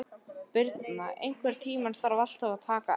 Birna, einhvern tímann þarf allt að taka enda.